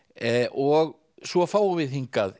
og svo fáum við hingað